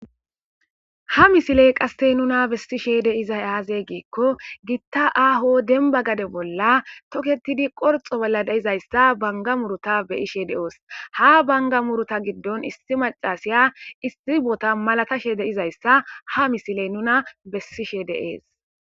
ha misiley qassey nuna bessishe deizay aaze geekko gitta aho denba gade bolla toketidi qorxo bolla deizayssa banga muruta beyishe de7oos ha banga muruta giddon issi macasiya isxibota malatashe deizayssa ha misiley nuna bessishe deees